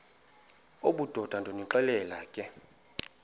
obudoda ndonixelela ke